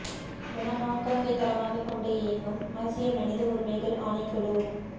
என ஹொங் கொங்கைத் தளமாகக் கொண்டு இயங்கும் ஆசிய மனித உரிமைகள் ஆணைக் குழு